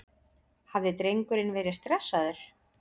Hafði drengurinn verið stressaður?